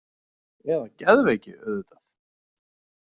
Eða geðveiki auðvitað.